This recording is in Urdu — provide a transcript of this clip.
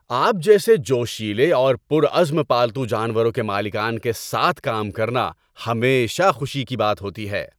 آپ جیسے جوشیلے اور پرعزم پالتو جانوروں کے مالکان کے ساتھ کام کرنا ہمیشہ خوشی کی بات ہوتی ہے۔